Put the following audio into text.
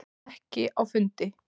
Ekki á fundi.